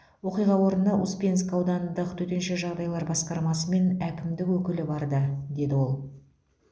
оқиға орнына успенск аудандық төтенше жағдайлар басқармасы мен әкімдік өкілі барды деді ол